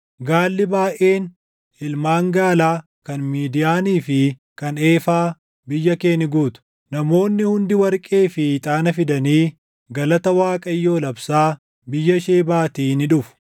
Gaalli baayʼeen, ilmaan gaalaa kan Midiyaanii fi kan Eefaa biyya kee ni guutu. Namoonni hundi warqee fi ixaana fidanii, galata Waaqayyoo labsaa biyya Shebaatii ni dhufu.